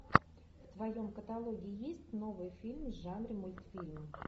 в твоем каталоге есть новый фильм в жанре мультфильм